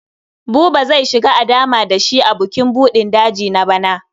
Buba zai shiga a dama da shi a bukin buɗin daji na bana.